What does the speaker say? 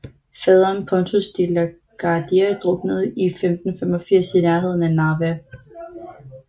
Faderen Pontus De la Gardie druknede i 1585 i nærheden af Narva